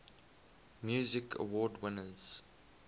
music awards winners